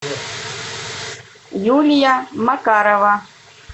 юлия макарова